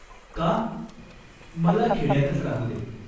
"का ?" "मला खेड्यातच राहू दे.